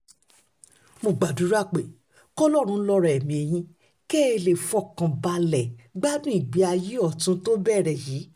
mo gbàdúrà pé kọlọ́run lọ́ra ẹ̀mí yín kẹ́ ẹ lè fọkàn balẹ̀ gbádùn ìgbé ayé ọ̀tún tó bẹ̀rẹ̀ yìí